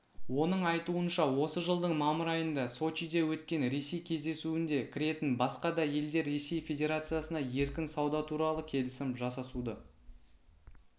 оның айтуынша осы жылдың мамыр айында сочиде өткен ресей кездесуінде кіретін басқа да елдер ресей федерациясына еркін сауда туралы келісім жасасуды